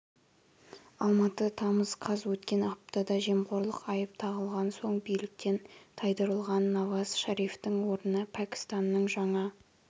алматы тамыз қаз өткен аптада жемқорлық айып тағылған соң биліктен тайдырылған наваз шарифтің орнына пәкістанның жаңа